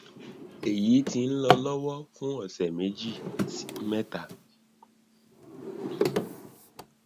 èyí ti ń lọ lọwọ fún ọsẹ méjì sí mẹta